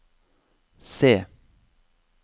C